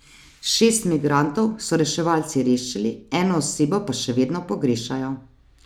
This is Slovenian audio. Šest migrantov so reševalci rešili, eno osebo pa še vedno pogrešajo.